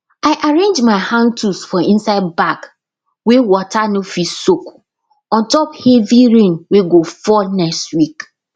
i arrange my handtools for inside bag wey water no fit soak ontop heavy rain wey go fall next week